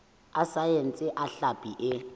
a saense a hlapi e